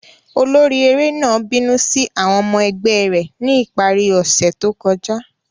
Olori ere náà binu si awọn ọmọ ẹgbẹ rẹ ni ipari ose to kọja.